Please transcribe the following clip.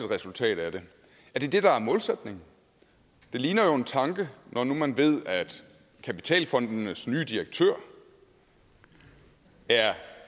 resultat af det er det det der er målsætningen det ligner jo en tanke når nu man ved at kapitalfondenes nye direktør er